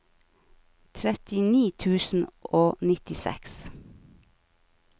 trettini tusen og nittiseks